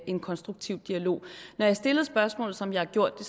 en konstruktiv dialog når jeg stillede spørgsmålet som jeg har gjort det